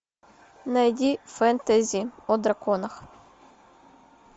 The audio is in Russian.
найди фэнтези о драконах